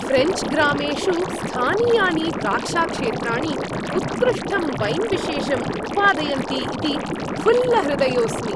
French ग्रामेषु स्थानीयानि द्राक्षाक्षेत्राणि उत्कृष्टं वैन् विशेषं उत्पादयन्ति इति फुल्लहृदयोस्मि।